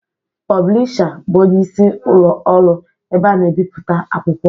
Pụblịsha bụ ọnyeisi ụlo ọru ebe ana-ebiputa akwụkwọ